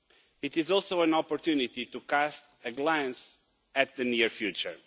It is also an opportunity to cast a glance at the near future.